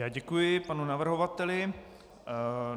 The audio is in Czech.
Já děkuji panu navrhovateli.